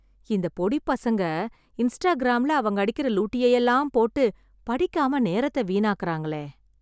இந்த பொடிப் பசங்க, இன்ஸ்டாகிராம்ல, அவங்க அடிக்கிற லூட்டியையெல்லாம் போட்டு, படிக்காம நேரத்தை வீணாக்கறாங்களே..